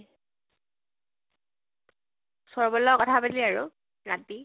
সৌৰভৰ লগত কথা পাতিলে আৰু ৰাতি।